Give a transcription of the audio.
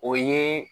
O ye